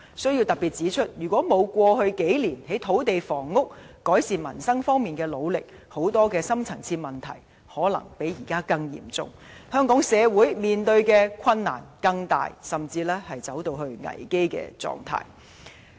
我要特別指出，如果沒有政府過去數年在土地房屋、改善民生方面的努力，很多深層次問題可能較現在更嚴重，香港社會所面對的困難會更大，甚至惡化至危機狀態。